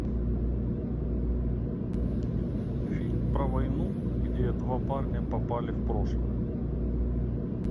фильм про войну где два парня попали в прошлое